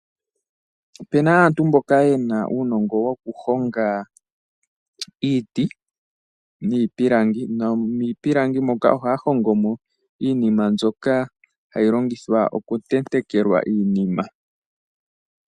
Opuna aantu mboka yena uunongo woku honga iiti niipilangi. Moka ohaya hongo mo iinima mbyoka hayi longithwa oku tentekelwa iinima .